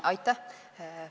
Aitäh!